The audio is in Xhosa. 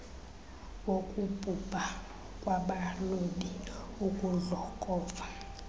wokubhubha kwabalobi ukudlokova